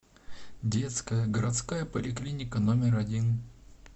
детская городская поликлиника номер один